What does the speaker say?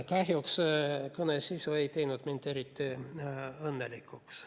Kahjuks kõne sisu ei teinud mind eriti õnnelikuks.